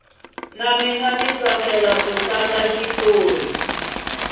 na mina ndza switsakela ku tlanga xitori